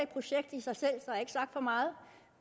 projekt i sig selv så ikke sagt for meget